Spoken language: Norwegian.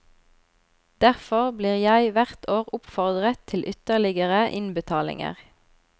Derfor blir jeg hvert år oppfordret til ytterligere innbetalinger.